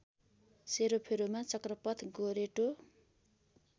सेरोफेरोमा चक्रपथ गोरेटो